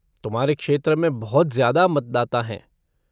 तुम्हारे क्षेत्र में बहुत ज्यादा मतदाता हैं।